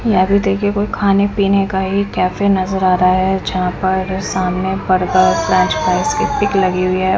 यहां पे देखिए कोई खाने पीने का एक कैफे नजर आ रहा है जहां पर सामने बर्गर फ्रेंच फ्राइज की पिक लगी हुई है।